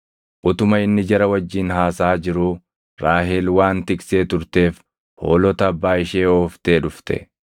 Utuma inni jara wajjin haasaʼaa jiruu, Raahel waan tiksee turteef hoolota abbaa ishee ooftee dhufte.